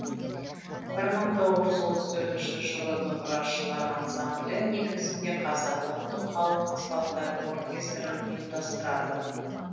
бір мың тоғыз жүз отыз төртінші жылы домбырашылар ансамблі негізінде қазақ ұлттық халық аспаптар оркестрін ұйымдастырады